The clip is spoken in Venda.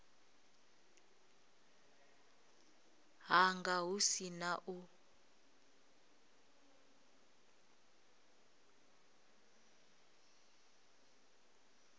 hanga hu si na u